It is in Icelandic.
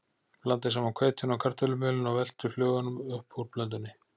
Blandið saman hveitinu og kartöflumjölinu og veltið flögunum upp úr blöndunni.